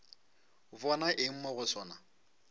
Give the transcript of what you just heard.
bona eng mo go sona